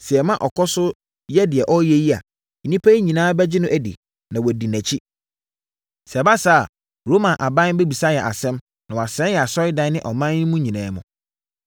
Sɛ yɛma ɔkɔ so yɛ deɛ ɔreyɛ yi a, nnipa nyinaa bɛgye no adi na wɔadi nʼakyi. Sɛ ɛba saa a, Roma aban bɛbisa yɛn asɛm na wasɛe yɛn asɔredan ne ɔman mu yi nyinaa.”